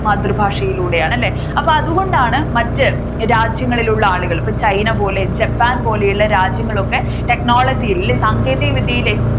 മാതൃഭാഷയിലൂടെയാണ് അല്ലെ അപ്പൊ അതുകൊണ്ടാണ് മറ്റു രണ്ടു രാജ്യങ്ങളിൽ ഉള്ള ആളുകളെ ഇപ്പോൾ china പോലെ japan പോലെയുള്ള രാജ്യങ്ങളൊക്കെ technology യിൽ അല്ലെ സാങ്കേതിക വിദ്യയിൽ